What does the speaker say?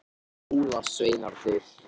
Mynd: Jólasveinarnir.